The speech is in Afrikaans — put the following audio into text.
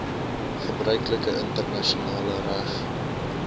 gebruiklike internasionale reg